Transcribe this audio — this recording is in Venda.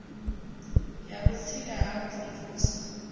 ya vhutsila ha u mvumvusa